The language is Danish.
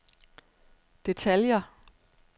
detaljer